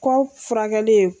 Kɔ furakɛli ye